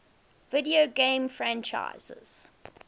video game franchises